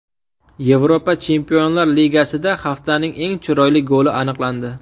Yevropa Chempionlar Ligasida haftaning eng chiroyli goli aniqlandi .